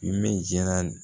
Ne jala